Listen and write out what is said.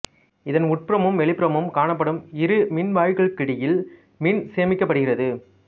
இதன் உட்புறமும் வெளிப்புறமும் காணப்படும் இரு மின்வாயிகளுக்கிடையில் மின் சேமிக்கப்படுகிறது